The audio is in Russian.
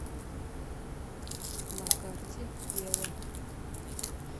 на карте ева